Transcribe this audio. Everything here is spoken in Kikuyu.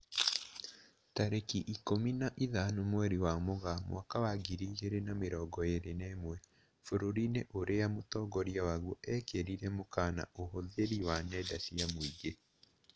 Tarĩki ikũmi na ithano mweri wa Mũgaa mwaka wa ngiri igĩrĩ na mĩrongo ĩrĩ na ĩmwe, bũrũri-inĩ ũrĩa mũtongoria waguo ekĩrirĩre mũkana ũhũthĩri wa nenda cia mũingĩ